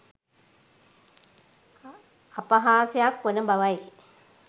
අපහාසයක් වන බවයි